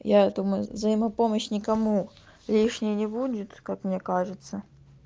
я думаю взаимопомощь никому лишней не будет как мне кажется